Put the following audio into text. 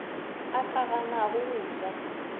a ka ganago go ja